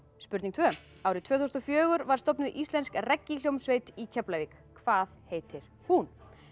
spurning tvö árið tvö þúsund og fjögur var stofnuð íslensk í Keflavík hvað heitir hún